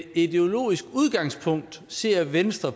ideologisk udgangspunkt ser venstre